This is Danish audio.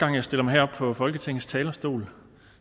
jeg stiller mig herop på folketingets talerstol